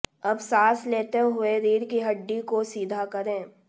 अब सांस लेते हुए रीढ़ की हड्डी को सीधा करें